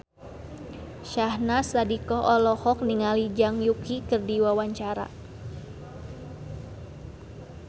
Syahnaz Sadiqah olohok ningali Zhang Yuqi keur diwawancara